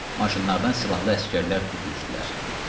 Maşınlardan silahlı əsgərlər tökülüşdülər.